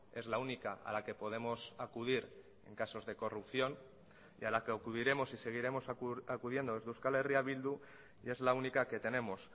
es la única a la que podemos acudir en casos de corrupción y a la que acudiremos y seguiremos acudiendo desde euskal herria bildu y es la única que tenemos